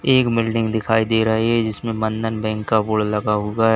एक बिल्डिंग दिखाई दे रही है जिसमें बंधन बैंक का बोर्ड लगा हुआ है।